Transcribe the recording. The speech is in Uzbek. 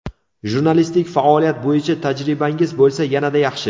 Jurnalistik faoliyat bo‘yicha tajribangiz bo‘lsa, yanada yaxshi!